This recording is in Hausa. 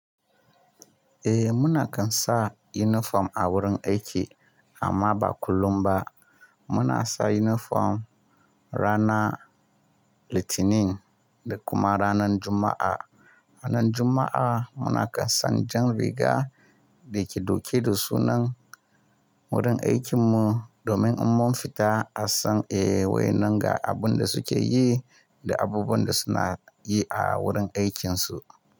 Eh muna kan sa yunifom a wurin aiki amma ba kullum ba. Muna sa yunifom ranar Litinin da kuma ranar Juma'a. Ranan Juma'a muna kan san jan riga da ke dauke da sunan wurin aikin mu domin in mun fita a san eh wayenan ga abun da suke yi da abubuwan da suna yi a wurin aikinsu.